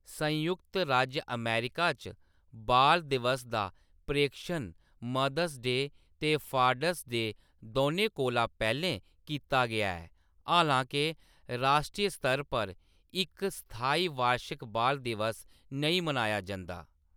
संयुक्त राज्य अमेरिका च बाल दिवस दा प्रेक्षण मदर्स डे ते फादर्स डे दौनें कोला पैह्‌‌‌लें कीता गेआ ऐ, हालां के राश्ट्री स्तर पर इक स्थाई बार्शिक बाल दिवस नेईं मनाया जंदा ।